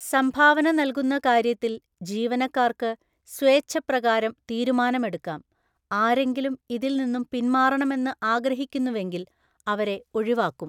സംഭാവന നല്കുന്ന കാര്യത്തില് ജീവനക്കാര്ക്ക് സ്വേച്ഛപ്രകാരം തീരുമാനമെടുക്കാം, ആരെങ്കിലും ഇതില്‍ നിന്നും പിന്മാറണമെന്ന് ആഗ്രഹിക്കുന്നുവെങ്കില്‍ അവരെ ഒഴിവാക്കും